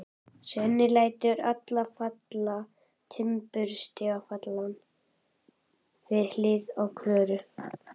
Svenni lætur sig falla á timburstaflann við hliðina á Klöru.